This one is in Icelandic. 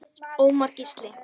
Ómar Gísli.